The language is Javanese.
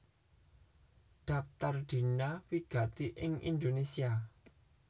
Dhaptar Dina wigati ing Indonésia